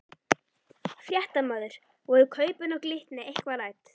Fréttamaður: Voru kaupin á Glitni eitthvað rædd?